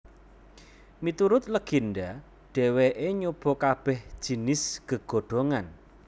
Miturut legenda dheweke nyoba kabeh jinis gegodhongan